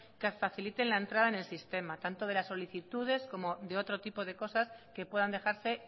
que facilitan la entrada en el sistema tanto de las solicitudes como de otro tipo de cosas que puedan dejarse